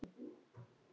Það er allt og sumt.